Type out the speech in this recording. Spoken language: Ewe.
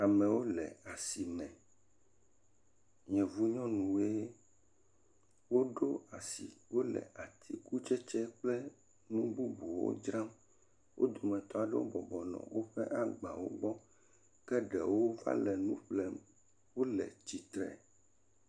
Amewo le asi me, yevunyɔwo woɖo asi le atikutsetse kple nu bubjuwo dzram wo dometɔ aɖewo bɔbɔnɔ woƒe agbawo gbɔ. Ke ɖewo le nu ƒlem wole tsitre.